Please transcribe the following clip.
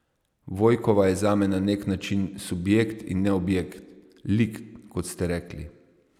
Vojkova je zame na nek način subjekt in ne objekt, lik, kot ste rekli.